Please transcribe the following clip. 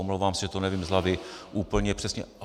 Omlouvám se, že to nevím z hlavy úplně přesně.